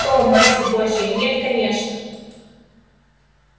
о матерь божья нет конечно